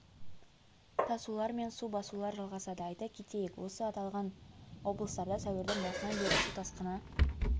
тасулар мен су басулар жалғасады айта кетейік осы аталған облыстарда сәуірдің басынан бері су тасқыны